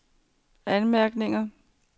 anmærkninger